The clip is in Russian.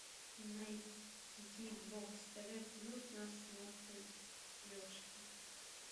найди бокс тв плюс на смотрешке